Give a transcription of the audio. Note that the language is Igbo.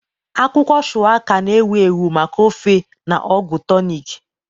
Akwụkwọ Shuwaka, na-ewu ewu maka ofe na ọgwụ tonik.